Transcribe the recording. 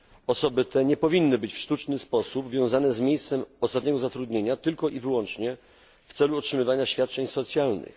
Osoby te nie powinny być w sztuczny sposób wiązane z miejscem ostatniego zatrudnienia tylko i wyłącznie w celu otrzymywania świadczeń socjalnych.